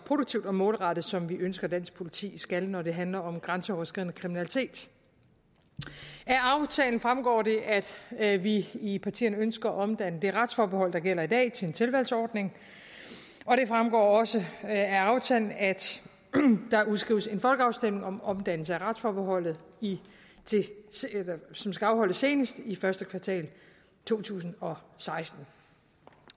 produktivt og målrettet som vi ønsker dansk politi skal når det handler om grænseoverskridende kriminalitet af aftalen fremgår det at vi i partierne ønsker at omdanne det retsforbehold der gælder i dag til en tilvalgsordning og det fremgår også af aftalen at der udskrives en folkeafstemning om omdannelse af retsforbeholdet som skal afholdes senest i første kvartal to tusind og seksten